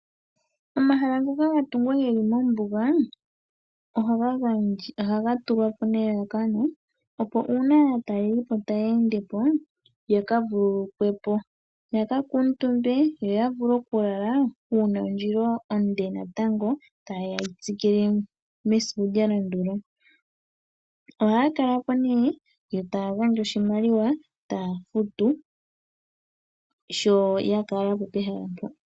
Omahala ngoka ga tungwa ge li mombuga ohaga tungwa po nelalakano, opo uuna aatalelipo taya ende po ya ka vululukwe po. Ya ka kuutumbe yo ya vule okulala uuna ondjila onde natango taye ya ye yi tsikile mesiku lya landula. Ohaya kala po nduno yo taya gandja oshimaliwa taya futu sho ya kala po pehala mpoka.